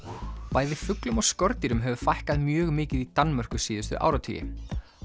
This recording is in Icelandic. bæði fuglum og skordýrum hefur fækkað mjög mikið í Danmörku síðustu áratugi